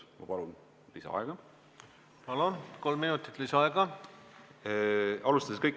Ma palun lisaaega!